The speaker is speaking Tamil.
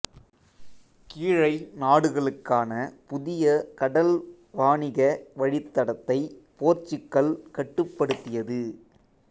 கீழை நாடுகளுக்கான புதிய கடல் வாணிக வழித் தடத்தைப் போர்ச்சுகல் கட்டுப்படுத்தியது